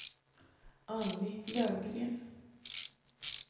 Annie Lövgren